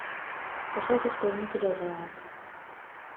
поставь исполнителя заак